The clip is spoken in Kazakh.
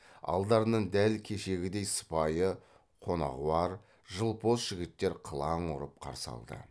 алдарынан дәл кешегідей сыпайы қонағуар жылпос жігіттер қылаң ұрып қарсы алды